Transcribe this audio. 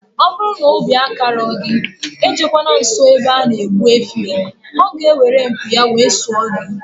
Ọbụrụ na obi akarọ gị, ejekwana nsọ ebe ana egbu efi oo, ọ ga eweru mpi ya wee sụọ gị